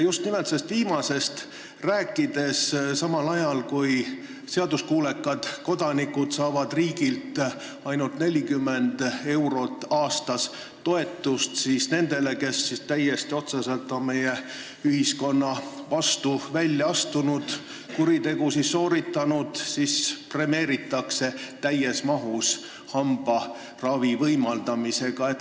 Just nimelt sellest viimasest rääkides: samal ajal kui seaduskuulekad kodanikud saavad riigilt ainult 40 eurot aastas toetust, premeeritakse neid, kes on otseselt ühiskonna vastu välja astunud ja kuritegusid sooritanud, täies mahus hambaravi võimaldamisega.